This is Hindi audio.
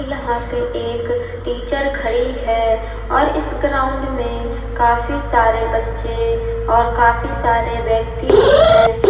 यहां पे एक टीचर खड़ी है और इस ग्राउंड में काफी सारे बच्चे और काफी सारे व्यक्ति भी हैं।